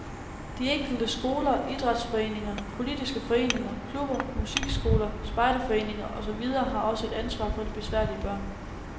De enkelte skoler, idrætsforeninger, politiske foreninger, klubber, musikskoler, spejderforeninger og så videre har også et ansvar for de besværlige børn.